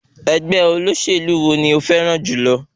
Ẹgbẹ́ olóṣèlú wo ni o fẹ́ràn jùlọ?